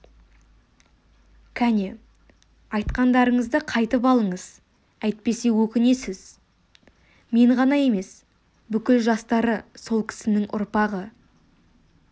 кәне айтқандарыңызды қайтып алыңыз әйтпесе өкінесіз мен ғана емес бүкіл жастары сол кісінің ұрпағы